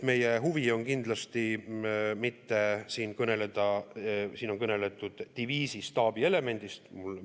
Meie huvi ei ole kindlasti kõneleda diviisi staabielemendist, millest on räägitud.